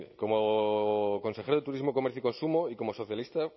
como consejero de turismo comercio y consumo y como socialista